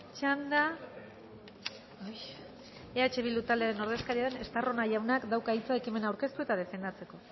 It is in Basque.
txanda eh bildu taldearen ordezkaria den estarrona jaunak dauka hitza ekimena aurkeztu eta defendatzeko